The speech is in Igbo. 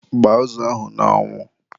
gbaa azụ ahụ n'anwu.